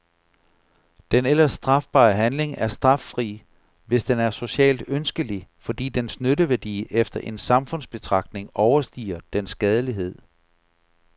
Den ellers strafbare handling er straffri, hvis den er socialt ønskelig, fordi dens nytteværdi efter en samfundsbetragtning overstiger dens skadelighed.